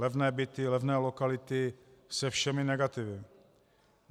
Levné byty, levné lokality se všemi negativy.